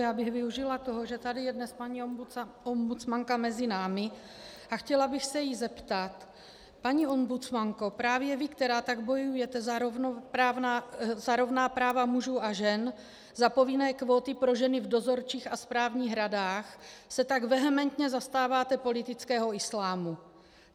Já bych využila toho, že tady je dnes paní ombudsmanka mezi námi, a chtěla bych se jí zeptat: Paní ombudsmanko, právě vy, která tak bojujete na rovná práva mužů a žen, za povinné kvóty pro ženy v dozorčích a správních radách, se tak vehementně zastáváte politického islámu.